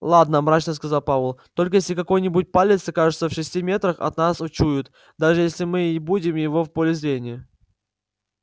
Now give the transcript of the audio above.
ладно мрачно сказал пауэлл только если какой-нибудь палец окажется в шести метрах он нас учует даже если мы и не будем в его поле зрения